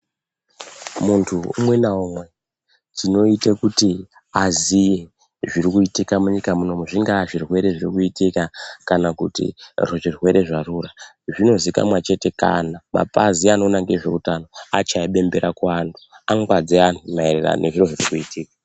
Muntu umwe naumwe chinoite kuti aziye zviri kuitika munyika muno zvingaa zvirwere zvirikuitika kana kuti zvirwere zvarura, zvinozikana chete kana mapazi anoita ngezveutano achaye bembera kuvantu ,angwadze vanhuu maererano nezvirikuitika.